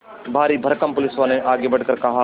भारीभरकम पुलिसवाले ने आगे बढ़कर कहा